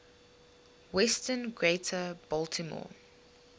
western greater baltimore